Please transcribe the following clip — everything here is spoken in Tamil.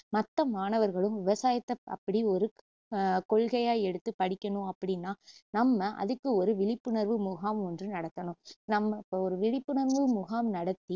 மத்த மாணவர்களும் விவசாயத்த அப்படி ஒரு க்~ அஹ் கொள்கையா எடுத்து படிக்கணும் அப்படின்னா நம்ம அதுக்கு ஒரு விழிப்புணர்வு முகாம் ஒன்று நடத்தணும் நம்ம இப்போ ஒரு விழிப்புணர்வு முகாம் நடத்தி